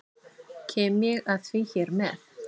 Kem ég að því hér með.